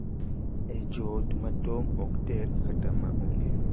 E joot ma tong’ ok tek kata ma onge,